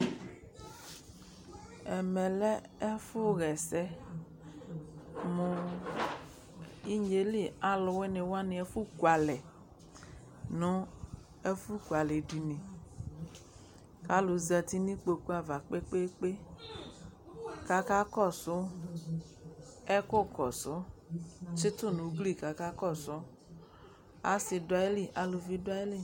Ɛmɛ lɛ ɛfʋɣa ɛsɛ mʋ inye yɛ li alʋwɩnɩ wanɩ ɛfʋkualɛ nʋ ɛfʋkualɛdini kʋ alʋ zati nʋ ikpoku ava kpe-kpe-kpe kʋ akakɔsʋ ɛkʋkɔsʋ tsɩtʋ nʋ ugli kʋ akakɔsʋ Asɩ dʋ ayili, aluvi dʋ ayili